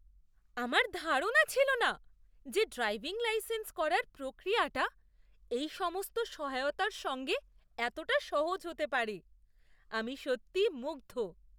আমার ধারণা ছিল না যে ড্রাইভিং লাইসেন্স করার প্রক্রিয়াটা এই সমস্ত সহায়তার সঙ্গে এতটা সহজ হতে পারে। আমি সত্যিই মুগ্ধ!